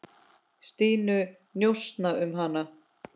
Stínu, njósna um hana.